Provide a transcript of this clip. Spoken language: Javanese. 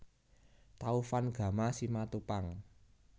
Taufan Gama Simatupang